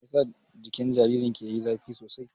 Meyasa jikin jaririn ki yayi zafi sosai?